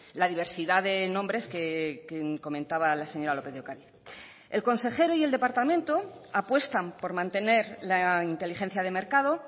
la diversidad de nombres que comentaba la señora lópez de ocariz el consejero y el departamento apuestan por mantener la inteligencia de mercado